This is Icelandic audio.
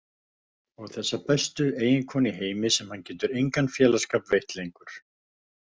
Og þessa bestu eiginkonu í heimi sem hann getur engan félagsskap veitt lengur.